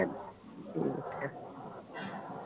ਠੀਕ ਆ